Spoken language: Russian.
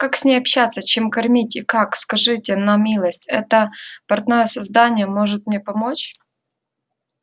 как с ней общаться чем кормить и как скажите на милость это партное создание может мне помочь